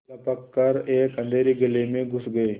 लपक कर एक अँधेरी गली में घुस गये